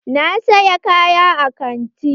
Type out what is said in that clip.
Na saya kaya a kanti.